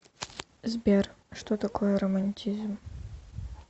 сбер что такое романтизм